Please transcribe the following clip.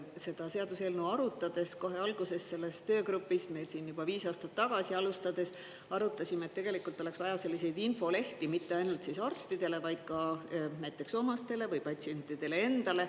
Seda seaduseelnõu arutades kohe alguses selles töögrupis, me siin juba viis aastat tagasi alustades arutasime, et tegelikult oleks vaja selliseid infolehti mitte ainult arstidele, vaid ka näiteks omastele või patsientidele endale.